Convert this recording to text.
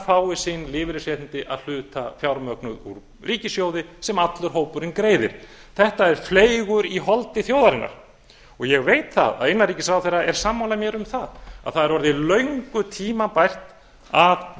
fái sín lífeyrisréttindi að hluta fjármögnuð úr ríkissjóði sem allur hópurinn greiðir þetta er fleygur í holdi þjóðarinnar og ég veit það að innanríkisráðherra er sammála mér um að það er orðið löngu tímabært að